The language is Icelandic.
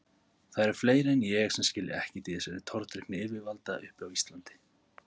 Það eru fleiri en ég sem skilja ekkert í þessari tortryggni yfirvalda uppi á Íslandi.